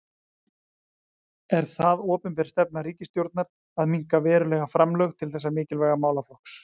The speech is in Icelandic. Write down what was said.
Er það opinber stefna ríkisstjórnar að minnka verulega framlög til þessa mikilvæga málaflokks?